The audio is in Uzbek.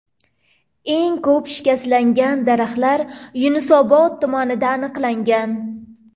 Eng ko‘p shikastlangan daraxtlar Yunusobod tumanida aniqlangan.